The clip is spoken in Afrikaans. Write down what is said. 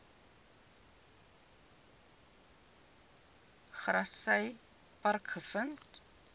grassy park gevind